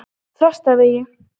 Þrastarvegi